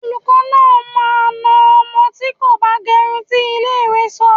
Olùkọ́ náà máa na ọmọ tí kò bá gẹrun tí ilé ìwé sọ.